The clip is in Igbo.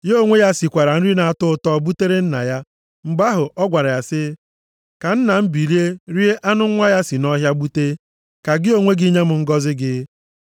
Ya onwe ya sikwara nri na-atọ ụtọ butere nna ya. Mgbe ahụ, ọ gwara ya sị, “Ka nna m, bilie, rie anụ nwa ya si nʼọhịa gbute, ka gị onwe gị nye m ngọzị gị.”